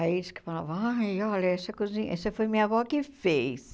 Aí eles falavam, ai, olha, essa cozinha, essa foi minha avó que fez.